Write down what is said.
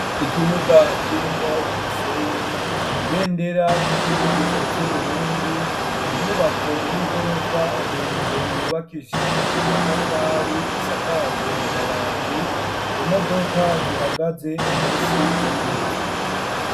ikibuga kirimwo umusenyi ,ibendera ry'igihugu c'uburundi , inyubako y'igorofa ndende yubakishijwe amatafari isakajwe amabati, imodoka zihagaze munsi y'ibiti.